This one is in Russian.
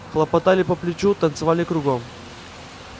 хлопали по плечу танцевали кругом